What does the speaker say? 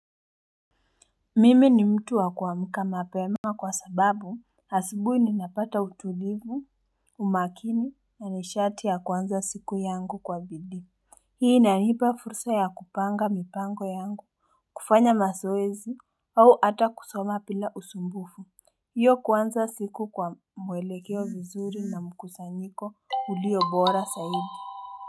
Mimi ni mtu wa kuamka mapema Kwa sababu asubuhi ninapata utulivu umakini na nishati ya kwanza siku yangu kwa bidii Hii inanipa fursa ya kupanga mipango yangu kufanya mazoezi au hata kusoma bila usumbufu Hivyo kwanza siko kwa mwelekeo vizuri na mkusanyiko ulio bora zaidi.